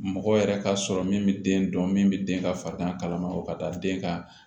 Mɔgɔ yɛrɛ ka sɔrɔ min bɛ den dɔn min bɛ den ka farigan kalama o ka taa den ka